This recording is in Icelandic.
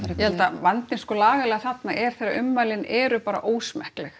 vandinn lagalega þarna er þegar ummælin eru bara ósmekkleg